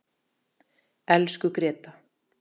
Elsku Gréta.